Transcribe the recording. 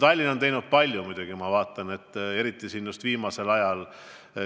Tallinn on muidugi palju teinud, eriti just viimasel ajal.